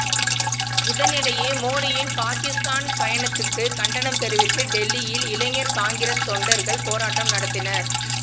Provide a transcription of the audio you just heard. இதனிடையே மோடியின் பாகிஸ்தான் பயணத்துக்குக் கண்டனம் தெரிவித்து டெல்லியில் இளைஞர் காங்கிரஸ் தொண்டர்கள் போராட்டம் நடத்தினர்